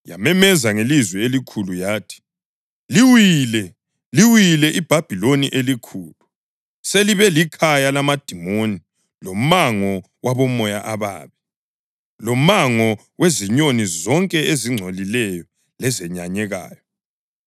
Yamemeza ngelizwi elikhulu yathi: “ ‘Liwile! Liwile iBhabhiloni eliKhulu!’ + 18.2 U-Isaya 21.9 Selibe likhaya lamadimoni lomango wabomoya ababi, lomango wezinyoni zonke ezingcolileyo lezenyanyekayo.